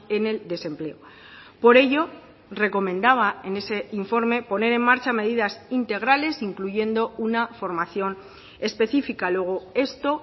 en el desempleo por ello recomendaba en ese informe poner en marcha medidas integrales incluyendo una formación específica luego esto